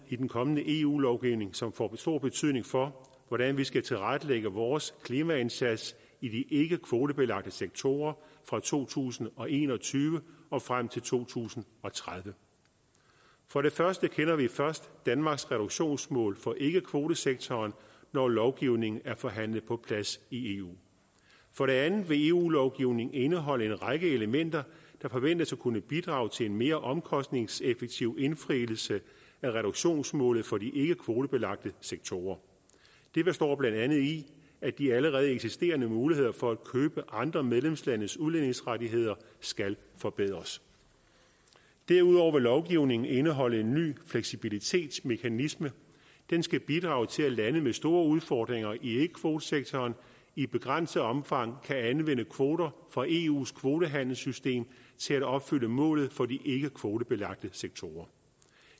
i den kommende eu lovgivning som får stor betydning for hvordan vi skal tilrettelægge vores klimaindsats i de ikke kvotebelagte sektorer fra to tusind og en og tyve og frem til to tusind og tredive for det første kender vi først danmarks reduktionsmål for ikkekvotesektoren når lovgivningen er forhandlet på plads i eu for det andet vil eu lovgivningen indeholde en række elementer der forventes at kunne bidrage til en mere omkostningseffektiv indfrielse af reduktionsmålet for de ikkekvotebelagte sektorer det består blandt andet i at de allerede eksisterende muligheder for at købe andre medlemslandes udledningsrettigheder skal forbedres derudover vil lovgivningen indeholde en ny fleksibilitetsmekanisme den skal bidrag til at lande med store udfordringer i ikkekvotesektoren i begrænset omfang kan anvende kvoter fra eus kvotehandelssystem til at opfylde målet for de ikke kvotebelagte sektorer